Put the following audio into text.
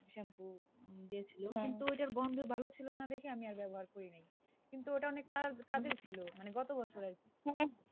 কিন্তু ওইটার গন্ধ ছিল না দেখে আমি আর ব্যবহার করি নি, কিন্তু অটা অনেক কাজের ছিল, মানে গত বছরের,